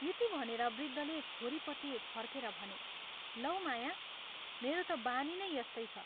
यति भनेर वृद्धले छोरीपट्टि फर्केर भने, "लौ माया, मेरो ता बानी नै यस्तै छ।